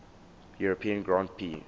european grand prix